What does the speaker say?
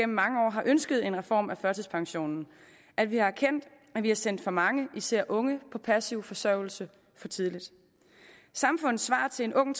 mange år har ønsket en reform af førtidspensionen og at vi har erkendt at vi har sendt for mange især unge på passiv forsørgelse for tidligt samfundets svar til en ung